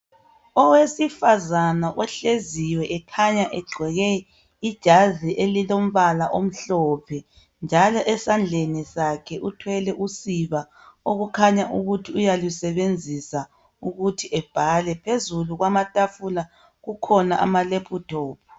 Owesifazane ohleziyo ekhanya egqoke ijazi elilombala omhlophe njalo esandleni sakhe uthwele usiba okukhanya ukuthi uyalusebenzisa ukuthi ebhale , phezulu kwamatafula kukhona ama laptop